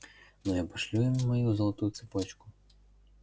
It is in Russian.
но я пошлю им мою золотую цепочку